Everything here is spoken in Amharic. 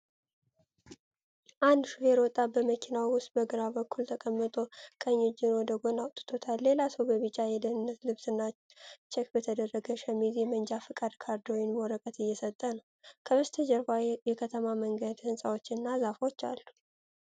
አንድ ሹፌር ወጣት በመኪናው ውስጥ በግራ በኩል ተቀምጦ ቀኝ እጁን ወደ ጎን አውጥቷል። ሌላ ሰው በቢጫ የደህንነት ልብስና ቼክ በተደረገ ሸሚዝ የመንጃ ፍቃድ ካርድ ወይንም ወረቀት እየሰጠው ነው። ከበስተጀርባ የከተማ መንገድ፣ ህንፃዎች እና ዛፎች አሉ።